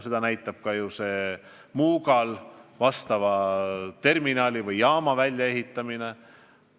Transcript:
Seda näitab ju ka Muugal vastava terminali või jaama väljaehitamine.